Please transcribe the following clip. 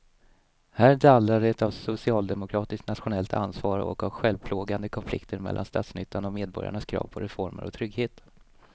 Här dallrar det av socialdemokratiskt nationellt ansvar och av självplågande konflikter mellan statsnyttan och medborgarnas krav på reformer och trygghet.